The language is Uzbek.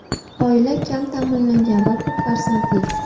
Oila kam ta’minlangan va ko‘p farzandli.